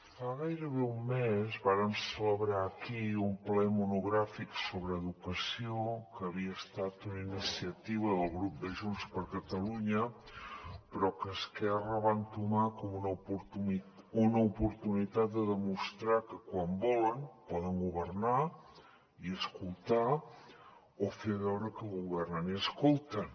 fa gairebé un mes vàrem celebrar aquí un ple monogràfic sobre educació que havia estat una iniciativa del grup de junts per catalunya però que esquerra va entomar com una oportunitat de demostrar que quan volen poden governar i escoltar o fer veure que governen i escolten